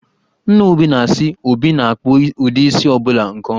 Nna Obi na-asị na, Obi na-akpụ ụdị isi ọ bụla nke ọma